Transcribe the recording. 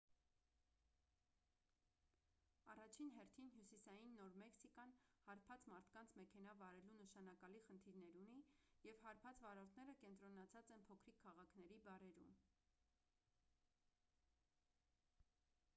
առաջին հերթին հյուսիսային նոր մեքսիկան հարբած մարդկանց մեքենա վարելու նշանակալի խնդիրներ ունի և հարբած վարորդները կենտրոնացած են փոքրիկ քաղաքների բարերում